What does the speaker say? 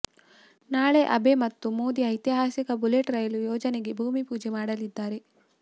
ನಾಳೆ ಅಬೆ ಮತ್ತು ಮೋದಿ ಐತಿಹಾಸಿಕ ಬುಲೆಟ್ ರೈಲು ಯೋಜನೆಗೆ ಭೂಮಿ ಪೂಜೆ ಮಾಡಲಿದ್ದಾರೆ